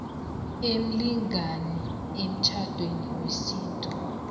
emlingani emtjhadweni wesintu